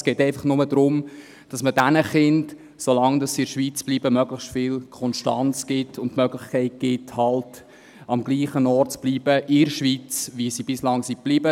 Es geht einfach nur darum, dass man diesen Kindern – so lange sie in der Schweiz bleiben – möglichst viel Konstanz und die Möglichkeit gibt, am dem Ort in der Schweiz zu bleiben, wo sie bislang waren.